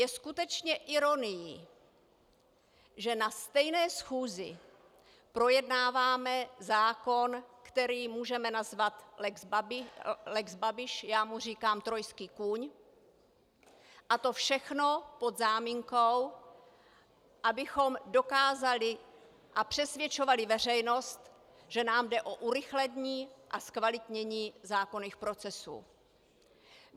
Je skutečně ironií, že na stejné schůzi projednáváme zákon, který můžeme nazvat lex Babiš, já mu říkám trojský kůň, a to všechno pod záminkou, abychom dokázali a přesvědčovali veřejnost, že nám jde o urychlení a zkvalitnění zákonných procesů.